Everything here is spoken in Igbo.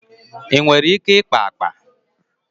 Ị nwere ike ikpa akpa?